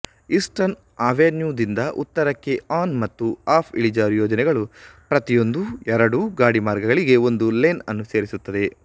eastern ಅವೆನ್ಯೂದಿಂದ ಉತ್ತರಕ್ಕೆ on ಮತ್ತು ಆಫ್ಇಳಿಜಾರು ಯೋಜನೆಗಳು ಪ್ರತಿಯೊಂದೂ ಎರಡೂ ಗಾಡಿಮಾರ್ಗಗಳಿಗೆ ಒಂದು ಲೇನ್ ಅನ್ನು ಸೇರಿಸುತ್ತದೆ